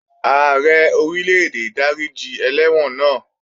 Ààrẹ Orílè-èdè dáríji ẹlẹ́wọ̀n náà